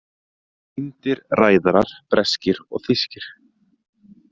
Týndir ræðarar breskir og þýskir